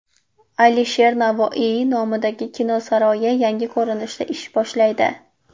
Alisher Navoiy nomidagi kino saroyi yangi ko‘rinishda ish boshlaydi .